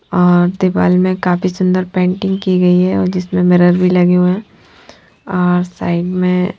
और दीवाल में काफी सुंदर पेंटिंग की गई है और जिसमें मिरर भी लगे हुए हैं और साइड में--